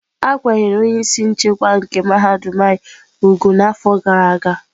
A kwanyere onye isi nchekwa nke mahadum anyị úgwù n'afọ gara aga.